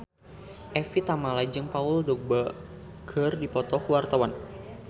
Evie Tamala jeung Paul Dogba keur dipoto ku wartawan